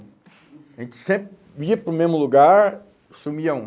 A gente sempre ia para o mesmo lugar, sumia um.